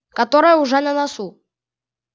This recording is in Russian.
которая уже на носу